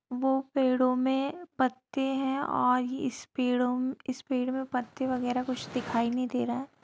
वो पेड़ों मे पत्ते है और इस पेड़ो इस पेड़ मे पत्ते वगैरा कुछ दिखाई नहीं दे रहा।